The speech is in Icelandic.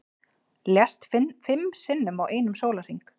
Lést fimm sinnum á einum sólarhring